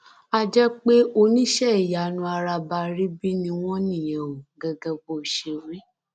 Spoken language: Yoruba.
àá jẹ pé oníṣẹìyanu arabaríbí ni wọn níyẹn o gẹgẹ bó ṣe wí